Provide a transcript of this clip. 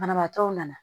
Banabaatɔw nana